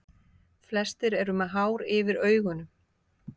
Flestir eru með hár yfir augunum.